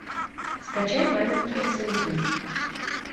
скачай маменькины сынки